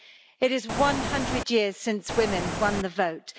It is 100 years since women won the vote